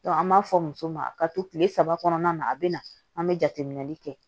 an b'a fɔ muso ma ka to kile saba kɔnɔna na a bi na an be jateminɛli kɛ